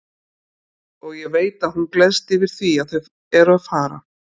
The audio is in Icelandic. Og ég veit að hún gleðst yfir því að þau eru að fara.